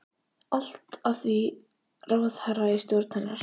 Allt að því ráðherra í stjórn hennar!